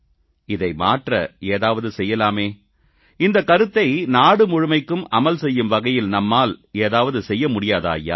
இதை மாற்ற ஏதாவது செய்யலாமே இந்தக் கருத்தை நாடுமுழுமைக்கும் அமல் செய்யும் வகையில் நம்மால் ஏதாவது செய்ய முடியாதா ஐயா